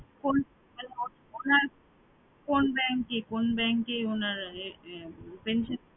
কোন কোন bank এ কোন bank এ উনার pension